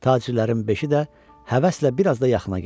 Tacirlərin beşi də həvəslə bir az da yaxına gəldi.